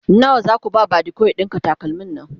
nawa Zaku ba badiko ya ɗinka takalmin Nan?